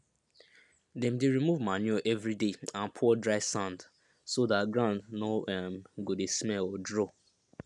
dem dey remove manure every day and pour dry sand so dat ground no um go dey smell or draw